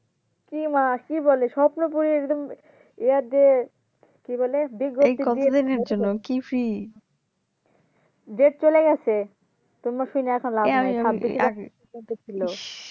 কি মা কি বলে স্বপ্নপুরীর একদম ইয়া দিয়ে কি বলে বিজ্ঞপ্তি ডেট চলে গেছে তোমার শুইনা এখন লাভ নাই ছিল ইস